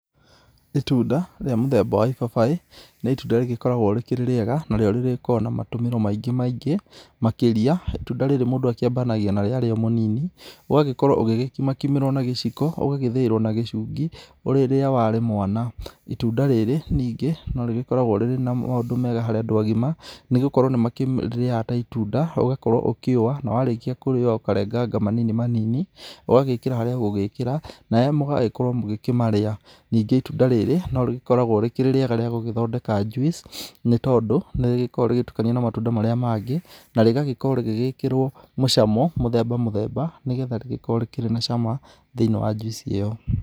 Itunda rĩa mũthemba wa ibabaĩ, nĩ itunda rĩgĩkoragwo rĩkĩrĩ rĩega. Narĩo nĩrĩgĩkoragwo na matũmĩro maingĩ maingĩ makĩria. Itunda rĩrĩ mũndũ akĩambanagia narĩo arĩ o mũnini. Ũgagĩkorwo ũgĩgĩkimakimĩrwo na gĩciko, ugagĩthĩirwo na gĩcungi, rĩrĩa warĩ mwana. Itunda rĩrĩ, ningĩ, norĩgĩkoragwo rĩrĩ na maũndũ mega harĩ andũ agima, nĩgũkorwo nĩmakĩrĩrĩaga ta itunda, ũgakorwo ũkĩũa, na warĩkia kũrĩũa ũkarenganga manini manini, ũgagĩkĩra harĩa ũgũgĩkĩra, nawe mũgagĩkorwo mũgĩkĩmarĩa. Ningĩ itunda rĩrĩ, no rĩgĩkoragwo rĩkĩrĩ rĩega rĩa gũgĩthondeka juice, nĩ tondũ nĩ rĩgĩkoragwo rĩgĩtukanio na matunda marĩa mangĩ, na rĩgagĩkorwo rĩgĩgĩkĩrwo mũcamo mũthemba mũthemba, nĩgetha rĩgĩkorwo rĩkĩrĩ na cama thĩiniĩ wa juice ĩyo.